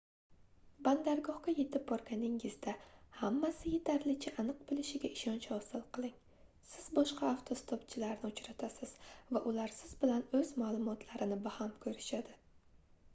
bandargohga yetib borganingizda hammasi yetarlicha aniq boʻlishiga ishonch hosil qiling siz boshqa avtostopchilarni uchratasiz va ular siz bilan oʻz maʼlumotlarini baham koʻrishadi